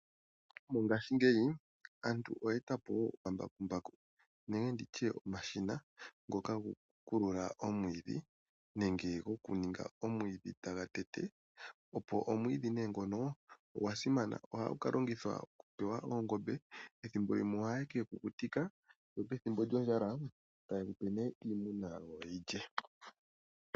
Mongashingeyi aantu oye eta po woo omambakumbaku nenge nditye omashina ngoka gokukulula omwiidhi nenge gokuninga omwiidhi taga tete. Opo omwiidhi nee ngono ogwa simana, ohagu ka longithwa oku pewa oongombe, ethimbo lime ohaye kegu kukutika, nopethimbo lyondjala taye gupe nee iimuna yawo yi gu lye.